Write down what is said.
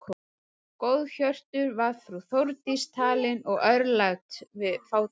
Góðhjörtuð var frú Þórdís talin og örlát við fátæka.